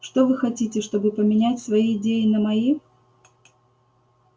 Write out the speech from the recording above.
что вы хотите чтобы поменять свои идеи на мои